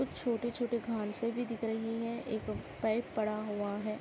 कुछ छोटे - छोटे घासें भी दिख रही हैं एक पाइप पड़ा हुआ है।